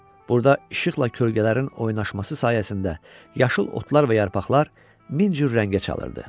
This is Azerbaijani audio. Burda işıqla kölgələrin oynaşması sayəsində yaşıl otlar və yarpaqlar min cür rəngə çalırdı.